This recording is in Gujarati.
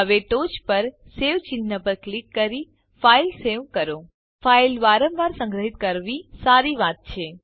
હવે ટોચ પર સવે ચિહ્ન પર ક્લિક કરી ફાઇલ સેવ કરો ફાઈલ વારંવાર સંગ્રહ્વી સારી વાત છે